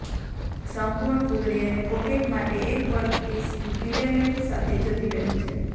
એક સંપૂર્ણ ફૂદડી અને પોકેટ માટે એક વર્કપીસ પિલેલેટ સાથે જતી રહી છે